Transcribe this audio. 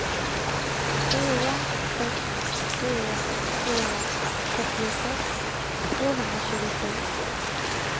fyra sex fyra fyra trettiosex tvåhundratjugosju